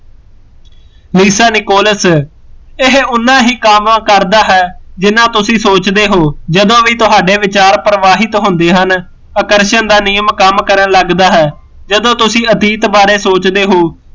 ਵਿਰਸਾ ਨਿਕੋਲਸ, ਇਹ ਉਨਾ ਹੀਂ ਕੰਮ ਕਰਦਾ ਹੈ ਜਿੰਨਾ ਤੁਸੀਂ ਸੋਚਦੇ ਹੋ ਜਦੋਂ ਵੀ ਤੁਹਾਡੇ ਵਿਚਾਰ ਪ੍ਰਵਾਹਿਤ ਹੁੰਦੇ ਹਨ, ਆਕਰਸ਼ਣ ਦਾ ਨਿਯਮ ਕੰਮ ਕਰਨ ਲੱਗਦਾ ਹੈ, ਜਦੋਂ ਤੁਸੀਂ ਅਤੀਤ ਬਾਰੇ ਸੋਚਦੇ ਹੋ